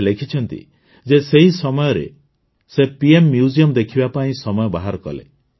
ସେ ଲେଖିଛନ୍ତି ଯେ ସେହି ସମୟରେ ସେ ପିଏମ୍ ମ୍ୟୁଜିୟମ ଦେଖିବା ପାଇଁ ସମୟ ବାହାର କଲେ